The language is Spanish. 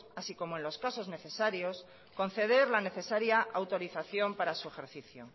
así como en los casos necesarios conceder la necesaria autorización para su ejercicio